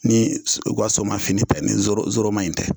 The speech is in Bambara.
Ni o ka soma fini nin zoro zoroma in tɛ